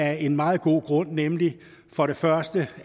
af en meget god grund nemlig for det første